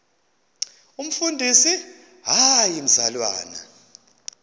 umfundisi hayi mzalwana